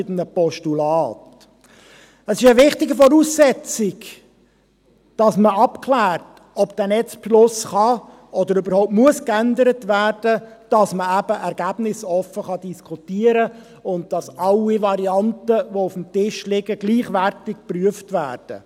Es ist eine wichtige Voraussetzung, dass man abklärt, ob der Netzbeschluss geändert werden kann oder überhaupt geändert werden muss, dass man eben ergebnisoffen diskutieren kann und dass alle Varianten, die auf dem Tisch liegen, gleichwertig geprüft werden.